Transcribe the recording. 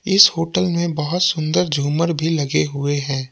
इस होटल में बहुत सुंदर झूमर भी लगे हुए हैं।